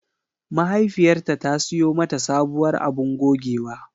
Mahaifiyarta ta siyo mata sabuwar abun gogewa.